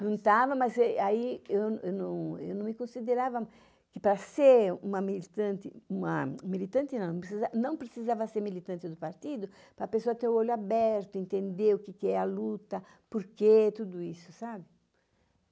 Não estava, mas aí eu não me considerava que para ser uma militante, uma militante não, não precisava ser militante do partido, para a pessoa ter o olho aberto, entender o que é a luta, por quê, tudo isso, sabe?